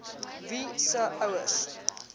wie se ouers